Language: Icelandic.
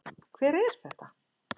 Hver er þetta?